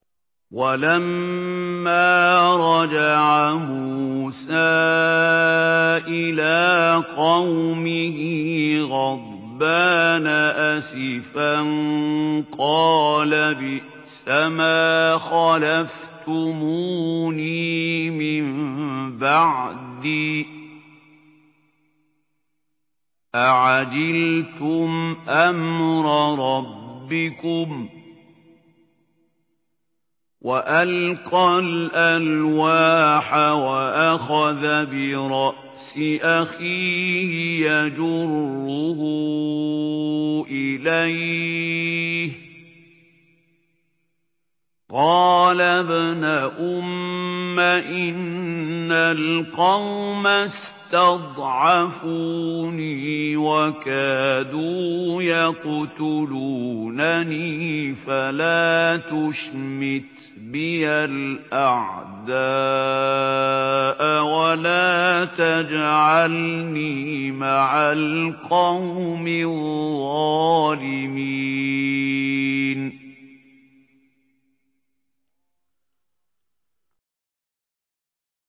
وَلَمَّا رَجَعَ مُوسَىٰ إِلَىٰ قَوْمِهِ غَضْبَانَ أَسِفًا قَالَ بِئْسَمَا خَلَفْتُمُونِي مِن بَعْدِي ۖ أَعَجِلْتُمْ أَمْرَ رَبِّكُمْ ۖ وَأَلْقَى الْأَلْوَاحَ وَأَخَذَ بِرَأْسِ أَخِيهِ يَجُرُّهُ إِلَيْهِ ۚ قَالَ ابْنَ أُمَّ إِنَّ الْقَوْمَ اسْتَضْعَفُونِي وَكَادُوا يَقْتُلُونَنِي فَلَا تُشْمِتْ بِيَ الْأَعْدَاءَ وَلَا تَجْعَلْنِي مَعَ الْقَوْمِ الظَّالِمِينَ